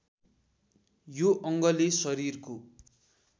यो अङ्गले शरीरको